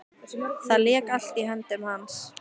Það lék allt í höndum hans.